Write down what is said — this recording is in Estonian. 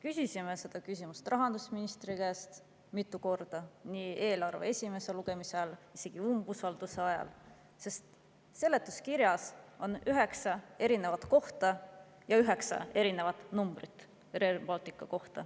Küsisime seda küsimust rahandusministri käest mitu korda, eelarve esimese lugemise ajal, isegi umbusalduse ajal, sest seletuskirjas on Rail Balticu kohta üheksas erinevas kohas üheksa erinevat numbrit.